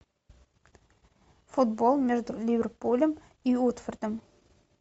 футбол между ливерпулем и уотфордом